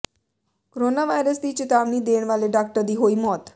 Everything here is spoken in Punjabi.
ਕੋਰੋਨਾ ਵਾਇਰਸ ਦੀ ਚੇਤਾਵਨੀ ਦੇਣ ਵਾਲੇ ਡਾਕਟਰ ਦੀ ਹੋਈ ਮੌਤ